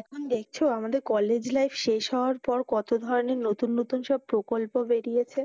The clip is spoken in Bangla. এখন দেখছো আমাদের college life শেষ হওয়ার পর কত ধরনের নতুন নতুন সব প্রকল্প বেরিয়েছে।